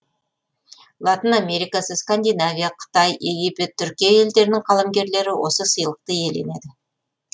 латын америкасы скандинавия қытай египет түркия елдерінің қаламгерлері осы сыйлықты иеленеді